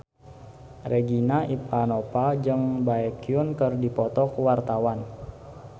Regina Ivanova jeung Baekhyun keur dipoto ku wartawan